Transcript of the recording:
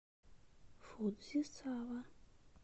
фудзисава